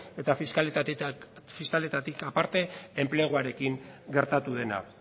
eta fiskalitatetik aparte enpleguarekin gertatu dena